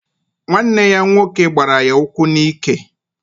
Nwanne ya nwoke gbara ya ụkwụ n'ike.